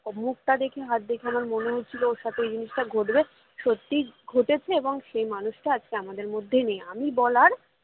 ওর মুখটা দেখে হাত দেখে আমার মনে হচ্ছিলো ওর সাথে ওই জিনিসটা ঘটবে সত্যিই ঘটেছে এবং সে মানুষটা আজকে আমাদের মধ্যে নেই আমি বলার